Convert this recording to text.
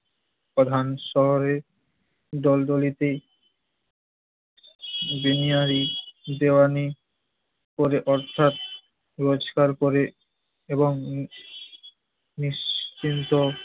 প্রধান শহরে ডলডলিপি বিনিয়ারি, দেওয়ানি করে অর্থাৎ রোজগার করে এবং নিশ্চিন্ত